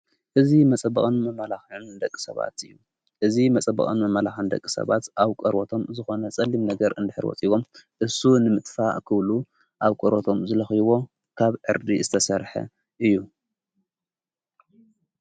እዝ መጸበቐን መመላኽን ደቂ ሰባት እዩ እዝ መጸበቐን መመላኽን ደቂ ሰባት ኣብ ቀርቦቶም ዝኾነ ጸሊም ነገር እንድኅርወፂዎም እሱ ንምጥፋ ኽብሉ ኣብ ቈረቶም ዝለኽይቦ ካብ ኤርዲ ዝተሠርሐ እዩ::